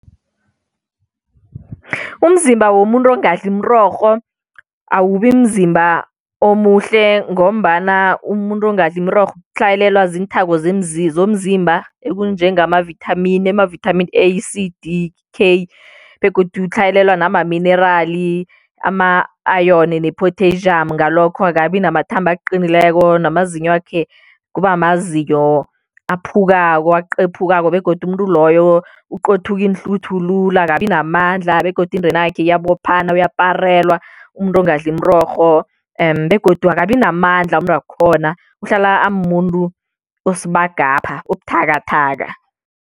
Umzimba womuntu ongadli imirorho awubi mzimba omuhle ngombana umuntu ongadli imirorho utlhayelelwa ziinthako zomzimba ekunjengamavithamini. Amavithamin A, C, D, K begodu utlhayelelwa namaminerali ama-ayoni nephothejamu, ngalokho akabi namathambo aqinileko namazinywakhe kuba mazinyo aphukako aqephukako begodu umuntu loyo uqothuka iinhluthu lula akabinamandla begodu indenakhe iyabophana, uyaparelwa umuntu ongadli imirorho begodu akabi namandla umuntu wakhona, uhlala amuntu osibagapha obuthakathaka.